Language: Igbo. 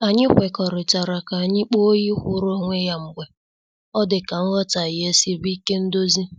Anyị kwekọrịtara ka anyị kpọọ oyi kwuru onwe ya mgbe ọ dịka nghotaghie esiri ike ndozi.